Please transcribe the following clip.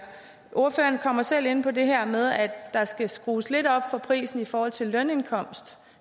ordføreren kommer selv ind på det her med at der skal skrues lidt op for prisen i forhold til lønindkomst